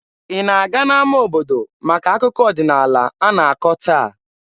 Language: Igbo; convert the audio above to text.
Ị na-aga n'ama obodo maka akụkọ ọdịnaala a na-akọ taa?